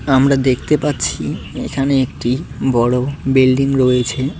আমরা দেখতে পাচ্ছি এখানে একটি বড় বিল্ডিং রয়েছে।